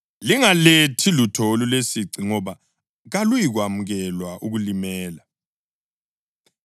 Lingalethi lutho olulesici ngoba kaluyikwamukelwa ukulimela.